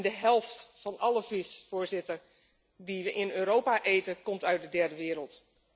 De helft van alle vis die we in Europa eten, komt uit de derde wereld.